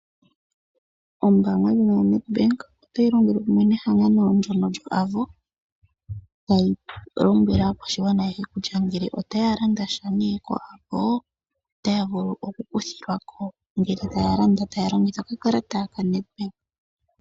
Ombaanga ndjono yoNedbank otayi longele kumwe nehangano lyoAvo tayi lombwele aakwashigwana kutya ngele otaya landasha koAvo otaya vulu oku kuthilwako ngele taya landa taya longitha okakalata koNedbank.